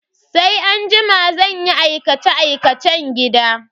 Sai anjima zan yi aikace-aikacen gida.